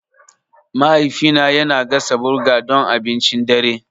Mahaifina yana gasa burger don abincin dare.